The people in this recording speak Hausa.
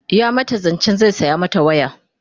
ya mata zancen zai saya mata waya